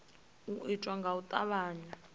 u itwa nga u tavhanya